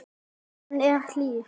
Hann er hlýr.